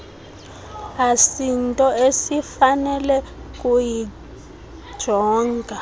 asinto esifanele kukuyijonga